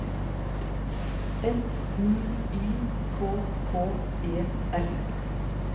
S M Y K K E R